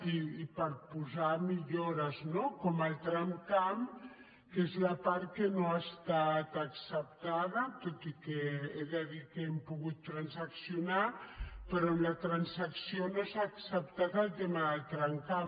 i per posar millores no com el tramcamp que és la part que no ha estat acceptada tot i que he de dir que hem pogut transaccionar però en la transacció no s’ha acceptat el tema del tramcamp